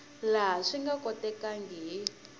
laha swi nga kotekaka hi